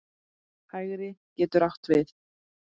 Hægri getur átt við